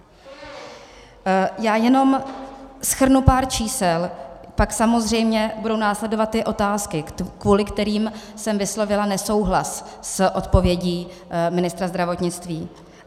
Já jenom shrnu pár čísel, pak samozřejmě budou následovat ty otázky, kvůli kterým jsem vyslovila nesouhlas s odpovědí ministra zdravotnictví.